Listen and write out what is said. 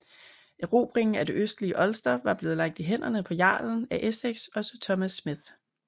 Erobringen af det østlige Ulster var blevet lagt i hænderne på jarlen af Essex og Sir Thomas Smith